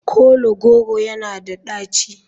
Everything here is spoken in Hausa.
Kola goro yana da daci?